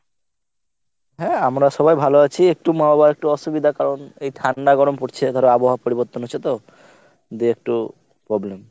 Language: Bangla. হ্যাঁ আমরা সবাই ভালো আছি। একটু মা বাবার একটু অসুবিধা কারণ এই ঠান্ডা গরম পরছে ধর আবহাওয়া পরিবর্তন হচ্ছে তো দে একটু problem.